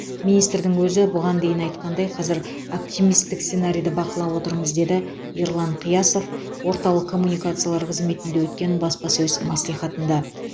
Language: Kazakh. министрдің өзі бұған дейін айтқандай қазір оптимистік сценарийді бақылап отырмыз деді ерлан қиясов орталық коммуникациялар қызметінде өткен баспасөз мәслихатында